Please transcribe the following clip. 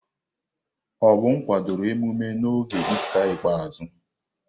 Obum kwadoro emume n'oge Ista ikpeazụ.